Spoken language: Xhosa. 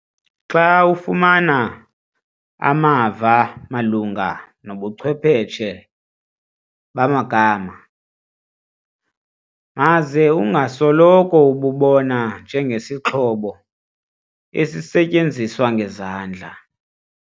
Xa ufumana amava malunga nobuchwepheshe bamagama, maze ungasoloko ububona njengesixhobo esisetyenziswa ngezandla.